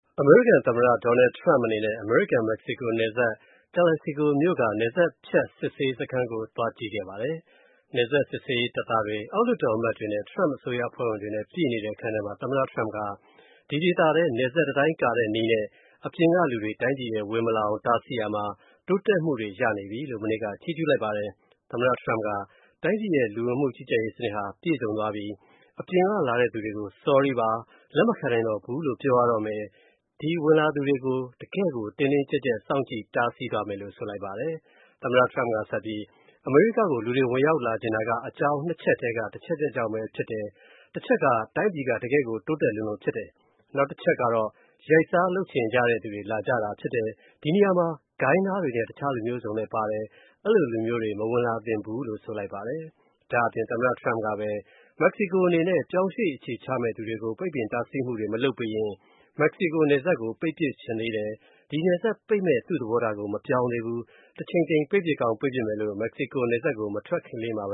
အမေရိကန် သမ္မတ Donald Trump အနေနဲ့ အမေရိကန် မက္ကဆီကို နယ်စပ် Calexico မြို့က နယ်စပ်ဖြတ် စစ်ဆေးရေးစခန်းကို သွားကြည့်ခဲ့ပါတယ်။ နယ်စပ်စစ်ဆေးရေးတပ်သားတွေ အောက်လွှတ်တော်အမတ်တွေနဲ့ Trump အစိုးရအဖွဲ့ဝင်တွေနဲ့ ပြည့်နေတဲ့ အခန်းထဲမှာ သမ္မတ Trump က ဒီဒေသထဲ နယ်စပ်တံတိုင်းကာတဲ့နည်းနဲ့ အပြင်ကလူတွေ တိုင်းပြည်ထဲ ဝင်မလာအောင် တားဆီးရာမှာ တိုးတက်မှုတွေရနေပြီလို့ မနေ့က ချီးကြူးလိုက်ပါတယ်။ သမ္မတ Trump က တိုင်းပြည်ရဲ့ လူဝင်မှုကြီးကြပ်ရေး စနစ်ဟာ ပြည့်စုံသွားပြီ။ အပြင်ကလာတဲ့သူတွေကို Sorry ပါ၊ လက်မခံနိုင်တော့ဘူးလို့ ပြောရတော့မယ်။ ဒီဝင်လာသူတွေကို တကယ့်ကို တင်းတင်းကြပ်ကြပ် စောင့်ကြည့်တားဆီးသွားမယ်လို့ ဆိုလိုက်ပါတယ်။ သမ္မတ Trump က ဆက်ပြီး အမေရိကားကို လူတွေ ဝင်ရောက်လာချင်တာက အကြောင်း ချက်ထဲက တချက်ချက်ကြောင့်ပဲဖြစ်တယ်။ တချက်က တိုင်းပြည်က တကယ့်ကို တိုးတက်လွန်းလို့ဖြစ်တယ်၊ နောက်တချက်ကတော့ မရိုးမသား ကြံစည်ချင်ကြလို့ ဖြစ်တယ်။ ဒီနေရာမှာ ဂိုဏ်းသားတွေနဲ့ တခြားလူမျိုးစုံပါလည်း အဲ့ဒီလိုလူမျိုးတွေ မဝင်လာသင့်ဘူးလို့ ဆိုပါတယ်။ ဒါ့အပြင် သမ္မတ Trump ကပဲ မက္ကဆီကိုအနေနဲ့ ပြောင်းရွေ့အခြေချမဲ့သူတွေကို ပိတ်ပင်တားဆီးမှုတွေ မလုပ်ပေးရင် မက္ကဆီကိုနယ်စပ်ကို ပတ်ပစ်ချင်သေးတယ်။ ဒီနယ်စပ် ပိတ်မဲ့ သူ့သဘောထားကို မပြောင်းသေးဘူး။ တချိန်ချိန် ပိတ်ပစ်ကောင်းပိတ်ပစ်မယ်လို့ မက္ကဆီကို နယ်စပ်ကို မထွက်ခင်လေးပဲ